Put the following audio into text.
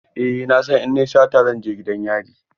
Eh na san in na yi sata zan je gidan yari.